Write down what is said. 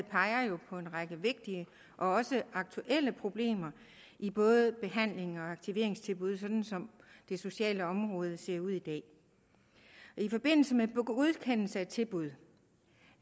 peger på en række vigtige og også aktuelle problemer i både behandlings og aktiveringstilbud sådan som det sociale område ser ud i dag i forbindelse med godkendelse af tilbud